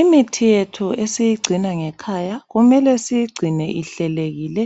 Imithi yethu esiyigcina ngekhaya kumele siyigcine ihlelekile